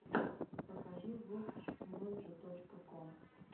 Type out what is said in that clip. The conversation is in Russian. покажи вотч моджо точка ком